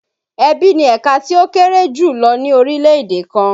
Ẹbí ni ẹ̀ka tí ó kéré jù lọ ní orílè-èdè kan.